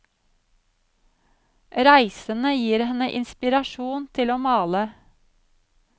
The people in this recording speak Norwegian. Reisene gir henne inspirasjon til å male.